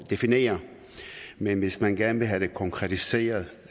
definere men hvis man gerne vil have konkretiseret